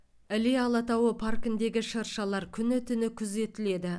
іле алатауы паркіндегі шыршалар күні түні күзетіледі